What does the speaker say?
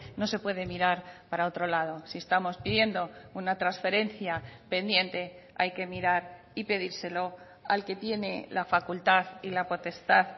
no se puede mirar para otro lado si estamos pidiendo una transferencia pendiente hay que mirar y pedírselo al que tiene la facultad y la potestad